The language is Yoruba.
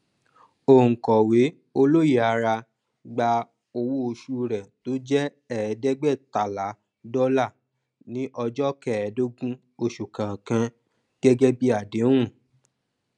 onkọwé olóyèara gba owó òṣù rẹ tó jẹ ẹẹdẹgbẹẹtalá dọlà ní ọjọ kẹẹẹdógún oṣù kọọkan gẹgẹ bí àdéhùn